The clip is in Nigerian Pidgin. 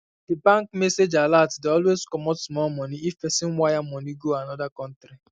the bank message alert dey always comot small money if pesin wire money go another country